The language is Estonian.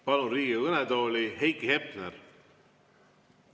Palun Riigikogu kõnetooli Heiki Hepneri.